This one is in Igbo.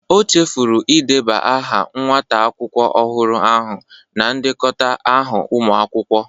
O chefuru ideba aha nwata akwụkwọ ọhụrụ ahụ na ndekọta ahụ ụmụ akwụkwọ